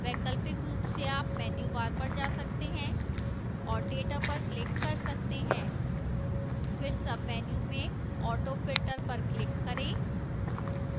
वैकल्पिक रूप से आप menu bar पर जा सकते हैं और data पर click कर सकते हैं फिर menu में auto filter पर click करें